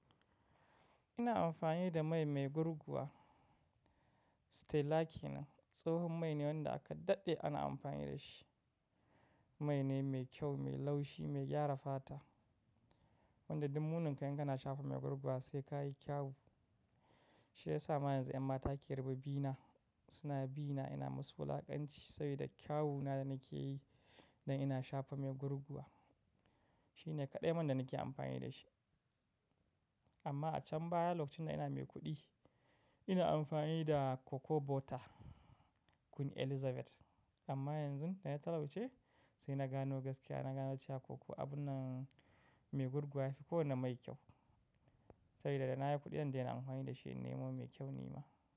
Ina amfani da mai mai gurguwa. Stella key nan, tsohon mai ne wanda aka daɗe ana amfani da shi. Mai ne mai kyau, mai laushi, mai gyara fata. Wanda ɗuk muninka in kana shafa mai gurguwa sai ka yi kyau. Shi ya sa ma yanzu 'yan mata ke rubi bina, suna bina ina masu wulakanci saboda kyawuna da nake yi dan ina shafa mai gurguwa. Shi ne kaɗai man da nake amfani da shi. Amma a can baya, lokacin da ina mai kuɗi, ina amfani da Coco Butter Queen Elizabeth. Amma yanzu da na talauce sai na gano gaskiya, na gano cewa coco abun nan mai gurguwa yafi kowane mai kyau. Saboda da na yi kuɗi daina amfani da shi in nemo mai kyau nima.